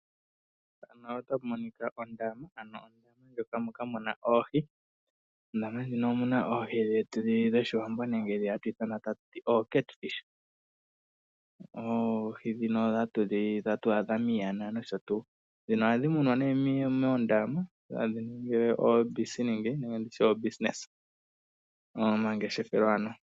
Ondama ano moka muna oohi mondama muka omuna oohi dhetu dhoshiwambo nenge dhoka hatu ithana o cat fish, oohi dhino hatu adha miyana noshotu. Ohadhi munwa moondama dhohadhi ningi omangeshefelo.